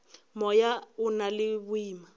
moya o na le boima